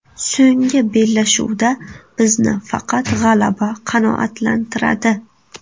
So‘nggi bellashuvda bizni faqat g‘alaba qanoatlantiradi.